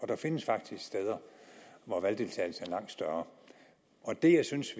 der findes faktisk steder hvor valgdeltagelsen er langt større det jeg synes